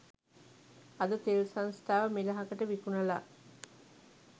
අද තෙල් සංස්ථාව මෙලහකට විකුණලා